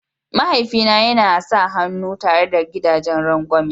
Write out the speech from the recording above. Mahaifi na yana sa hannu tare da gidagen rangwame.